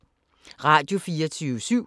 Radio24syv